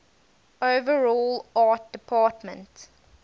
overall art department